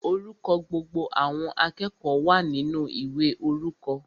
Orúkọ gbogbo àwọn akẹ́kọ̀ọ́ wa ninu ìwé orúkọ.